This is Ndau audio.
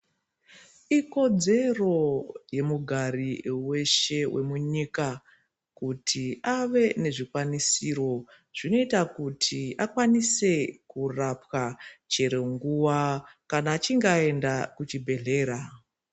Ikodzero yemugari weshe wemunyika kuti ave nezvikwanisiro zvinoita kuti akwaniswe kurapwa chero nguwa kana achinge aenda kuchibhedhlera.